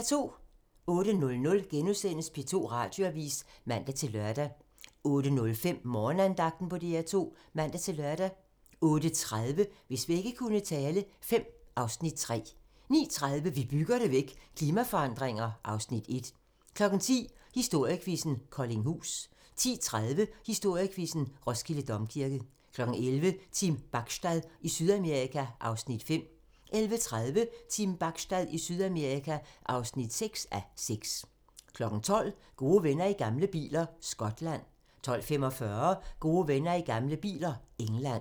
08:00: P2 Radioavis *(man-lør) 08:05: Morgenandagten på DR2 (man-lør) 08:30: Hvis vægge kunne tale V (Afs. 3) 09:30: Vi bygger det væk – klimaforandringer (Afs. 1) 10:00: Historiequizzen: Koldinghus 10:30: Historiequizzen: Roskilde Domkirke 11:00: Team Bachstad i Sydamerika (5:6) 11:30: Team Bachstad i Sydamerika (6:6) 12:00: Gode venner i gamle biler - Skotland 12:45: Gode venner i gamle biler - England